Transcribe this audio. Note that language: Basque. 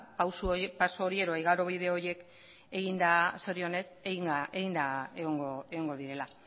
paso hori edo igarobide horiek eginda zorionez egongo direla